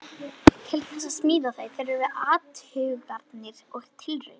Til þess að smíða þau þurfti athuganir og tilraunir.